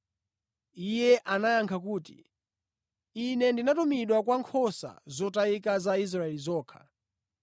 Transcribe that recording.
Iye anayankha kuti, “Ine ndinatumidwa kwa nkhosa zotayika za Israeli zokha.”